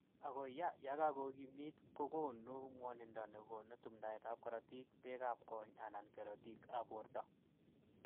Ako ya kakokimit kokonu ,mwanindo ne konu tumdaet ab karotik, beek ab kony ana kerotik ab borto.